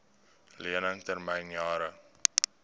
lening termyn jare